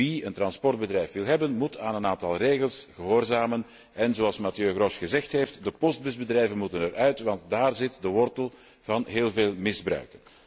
Wie een transportbedrijf wil hebben, moet aan een aantal regels gehoorzamen en, zoals Mathieu Grosch gezegd heeft, de postbusbedrijven moeten eruit, want daar zit de wortel van heel veel misbruik.